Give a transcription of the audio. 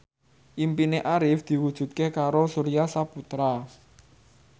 impine Arif diwujudke karo Surya Saputra